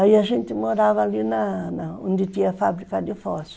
Aí a gente morava ali na na onde tinha a fábrica de fósforo.